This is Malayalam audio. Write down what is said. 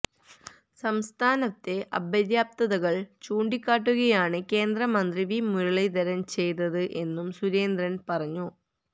സംസ്ഥാനത്തെ അപര്യാപ്തതകള് ചൂണ്ടിക്കാട്ടുകയാണ് കേന്ദ്ര മന്ത്രി വി മുരളീധരന് ചെയ്തത് എന്നും സുരേന്ദ്രന് പറഞ്ഞു